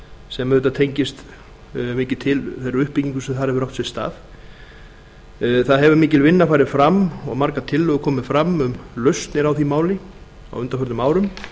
sem auðvitað tengist mikið til þeirri uppbyggingu sem þar hefur átt sér stað það hefur mikil vinna farið fram og margar tillögur komið fram um lausnir á því máli á undanförnum árum